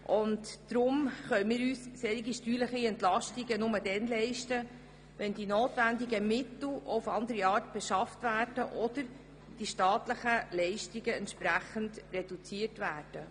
Darum können wir uns solche steuerlichen Entlastungen nur dann leisten, wenn die notwendigen Mittel auf andere Art beschafft oder die staatlichen Leistungen entsprechend reduziert werden.